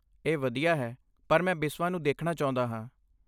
ਇਹ ਵਧੀਆ ਹੈ, ਪਰ ਮੈਂ ਬਿਸਵਾ ਨੂੰ ਦੇਖਣਾ ਚਾਹੁੰਦਾ ਹਾਂ।